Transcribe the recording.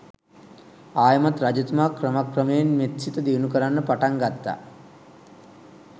ආයෙමත් රජතුමා ක්‍රමක්‍රමයෙන් මෙත් සිත දියුණු කරන්න පටන් ගත්තා.